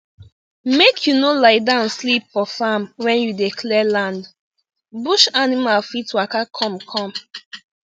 make you no lie down sleep for farm when you dey clear land bush animal fit waka come come